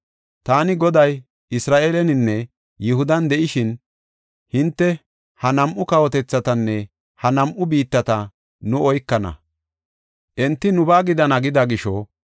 “Taani Goday Isra7eeleninne Yihudan de7ishin hinte, ‘Ha nam7u kawotethatanne ha nam7u biittata nu oykana; enti nubaa gidana gida gisho,